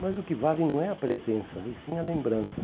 Mas o que vale não é a presença, e sim a lembrança.